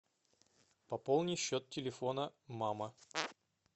пополни счет телефона мама